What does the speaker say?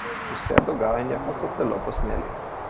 Vse dogajanje pa so celo posneli.